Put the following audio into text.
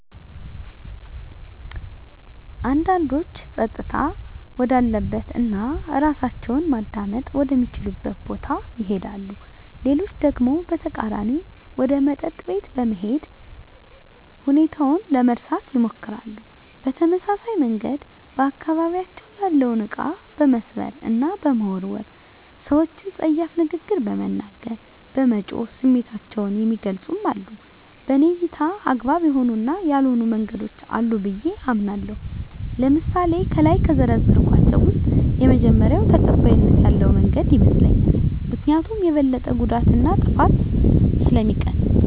አንዳንዶች ፀጥታ ወዳለበት እና እራሳቸውን ማዳመጥ ወደ ሚችሉበት ቦታ ይሄዳሉ። ሌሎች ደግሞ በተቃራኒው ወደ መጠጥ ቤት በመሄድ ሁኔታውን ለመርሳት ይሞክራሉ። በተመሳሳይ መንገድ በአካባቢያቸው ያለውን እቃ በመስበር እና በመወርወር፣ ሰወችን ፀያፍ ንግግር በመናገር፣ በመጮህ ስሜታቸውን የሚገልፁም አሉ። በኔ እይታ አግባብ የሆኑ እና ያልሆኑ መንገዶች አሉ ብየ አምናለሁ። ለምሳሌ ከላይ ከዘረዘርኳቸው ውስጥ የመጀመሪው ተቀባይነት ያለው መንገድ ይመስለኛል። ምክኒያቱም የበለጠ ጉዳትን እና ጥፋትን ስለሚቀንስ።